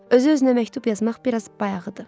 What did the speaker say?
Özü-özünə məktub yazmaq biraz bayağıdır.